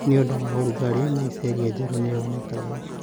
Nĩ ũndũ wa ũrugarĩ, mycelia njerũ nĩ yonekaga